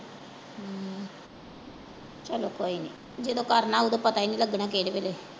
ਚਲੋ ਕੋਈ ਨਹੀਂ ਜਦੋਂ ਕਰਨਾ ਓਦੋਂ ਪਤਾ ਈ ਨੀ ਲੱਗਣਾ ਕਿਹੜੇ ਵੇਲੇ।